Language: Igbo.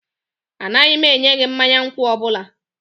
Anaghị m enye gị mmanya nkwụ ọ bụla